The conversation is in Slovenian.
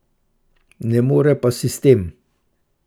Ne more pa sistem.